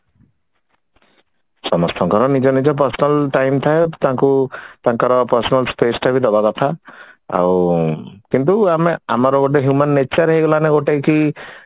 ସମସ୍ତଙ୍କର ନିଜ ନିଜ personal time ଥାଏ ତାଙ୍କୁ ତାଙ୍କର personal space ଟା ବି ଦବା କଥା ଆଉ କିନ୍ତୁ ଆମେ ଆମର ଗୋଟେ human nature ହେଇଗଲା ନା ଗୋଟେ କି